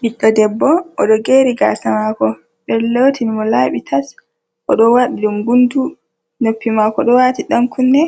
Ɓiɗɗo debbo, o ɗo geeri gaasa maako, ɓe ɗo lootini mo laaɓi tas, o ɗo waɗi ɗum guntu. Noppi maako ɗo waati ɗankunne,